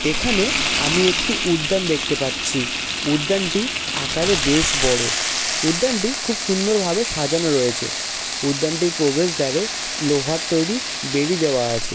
এখানে আমি একটি উদ্যান দেখতে পাচ্ছিউদ্যানটি আকারে বেশ বড়। উদ্যানটি খুব সুন্দরভাবে সাজানো রয়েছে উদ্যানটির প্রবেশ দারে লোহার তৈরি বেড়ি দেওয়া আছে ।